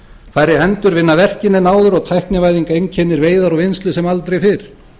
færri hendur vinna verkin en áður og tæknivæðing einkennir veiðar og vinnslu sem aldrei fyrr